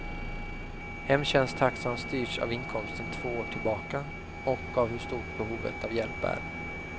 Hemtjänsttaxan styrs av inkomsten två år tillbaka och av hur stort behovet av hjälp är.